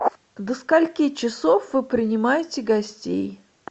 до скольки часов вы принимаете гостей